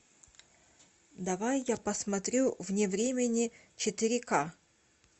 давай я посмотрю вне времени четыре ка